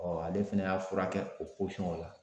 ale fɛnɛ y'a furakɛ o o la.